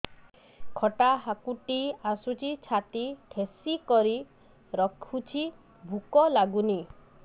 ଖଟା ହାକୁଟି ଆସୁଛି ଛାତି ଠେସିକରି ରଖୁଛି ଭୁକ ଲାଗୁନି